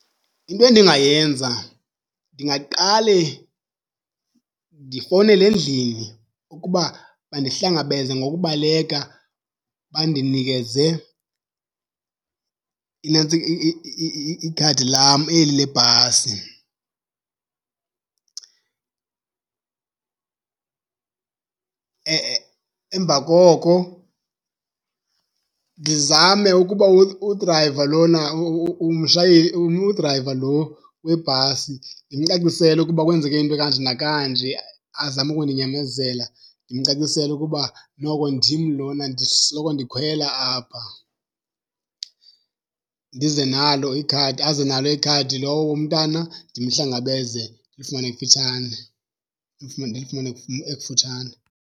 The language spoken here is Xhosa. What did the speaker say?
Into endingayenza ndingaqale ndifowunele endlini ukuba bandihlangabeze ngokubaleka bandinikeze ikhadi lam eli lebhasi. Emva koko ndizame ukuba udrayiva lona udrayiva lo webhasi ndimcacisele ukuba kwenzeke into ekanje nakanje azame ukundinyamezela. Ndimcacisele ukuba noko ndim lona ndisoloko ndikhwela apha. Ndize nalo ikhadi aze nalo ikhadi lowo umntana ndimhlangabeze ndilifumane kufutshane, ndilifumane ekufutshane.